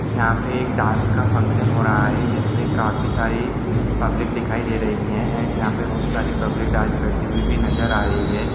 यहां पे एक डांस का फंक्शन हो रहा हैजिसमे काफी सारी पब्लिक दिखाई दे रही है एण्ड यहां पे बहुत सारी पब्लिक डांस करती हुए भी नजर आ रही है।